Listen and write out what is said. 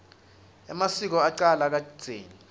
emasiko acala kadzeni